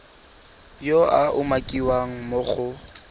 yo a umakiwang mo go